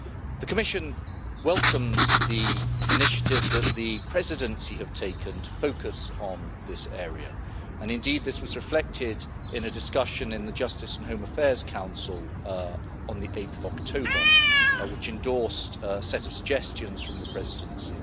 The Commission welcomes the initiative that the Presidency has taken to focus on this area, and indeed this was reflected in a discussion in the Justice and Home Affairs Council on 8 October, which endorsed a set of suggestions from the Presidency.